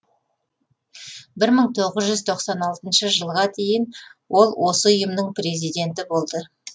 бір мың тоғыз жүз тоқсан алтыншы жылға дейін ол осы ұйымның президенті болды